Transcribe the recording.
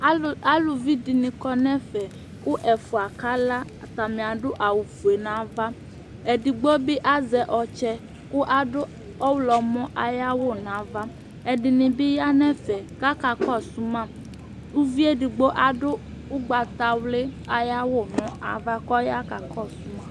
Alʋvi dìní kɔ nʋ ɛfɛ kʋ ɛfʋa kala kʋ atani adu awu fʋe nʋ ava Ɛdigbo bi azɛ ɔtsɛ kʋ adu ɔwlɔmɔ ayʋ awu nʋ ava Ɛdiní bi ya nʋ ɛfɛ kʋ ɔya kakɔsu ma Ʋvi ɛdigbo adu ugbata wli ayʋ awu nʋ ava kʋ ɔya kakɔsu ma